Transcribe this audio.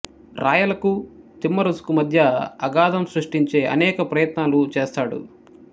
రాయలకు తిమ్మరుసు కు మధ్య అగాధం సృష్టించే అనేక ప్రయత్నాలు చేస్తాడు